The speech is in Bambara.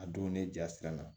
A donnen jasira la